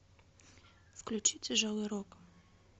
включи тяжелый рок